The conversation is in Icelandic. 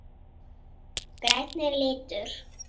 Grænn er litur.